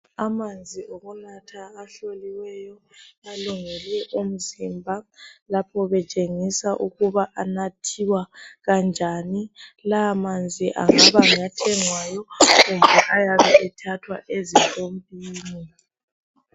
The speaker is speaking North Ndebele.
Amanzi okunatha ahloliweyo alungele umzimba lapho betshengisa ukuba anathiwa kanjani lawa manzi engaba ngathengwayo kumbe ayabe ethathwa ezipompini